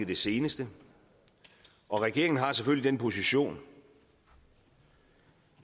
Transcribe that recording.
det seneste og regeringen har selvfølgelig den position